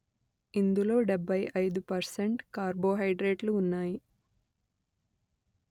ఇందులో డెబ్బై అయిదు పర్సెంట్ కార్బో హైడ్రేట్లు ఉన్నాయి